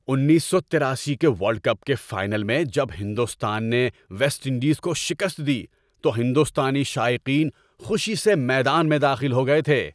اُنیس سو تراسی کے ورلڈ کپ کے فائنل میں جب ہندوستان نے ویسٹ انڈیز کو شکست دی تو ہندوستانی شائقین خوشی سے میدان میں داخل ہو گئے تھے۔